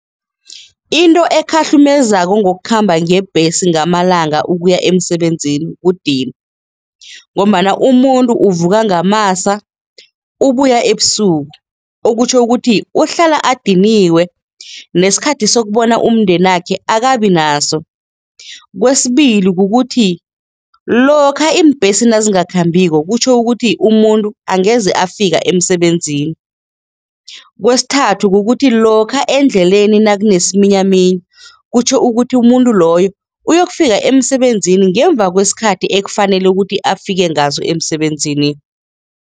Into ekhahlumezako ngokukhamba ngebhesi ngamalanga ukuya emsebenzini kudinwa ngombana umuntu uvuka kungamasa, ubuya ebusuku okutjho ukuthi uhlala adiniwe nesikhathi sokubona umndenakhe akabi naso, kwesibili kukuthi lokha iimbhesi nazingakhambiko kutjho ukuthi umuntu angeze afika emsebenzini, kwesithathu kukuthi lokha endleleni nakunesiminyaminya kutjho ukuthi umuntu loyo uyokufika emsebenzini ngemva kwesikhathi ekufanele ukuthi afike ngaso emsebenzini.